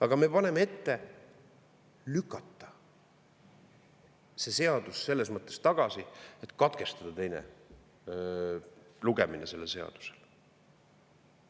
Aga me paneme ette lükata see seadus selles mõttes tagasi, et katkestada teine lugemine sellel seadusel.